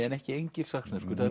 en ekki engilsaxneskur